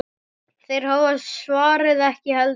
Þeir hafa svarið ekki heldur.